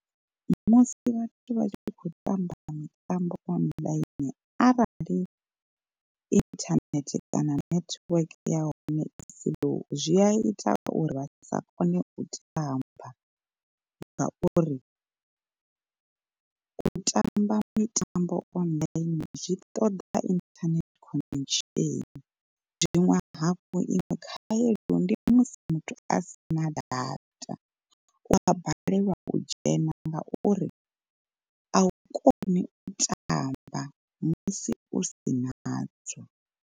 Musi vhathu vha tshi khou tamba mitambo online arali internet kana network ya hone i slow zwi a ita uri vha sa kone u tamba. Ngauri, u tamba mitambo online zwi ṱoḓa internet connection, zwiṅwe hafhu iṅwe khaedu ndi musi muthu a si na data u a balelwa u dzhena ngauri a u koni u tamba musi u si nadzo.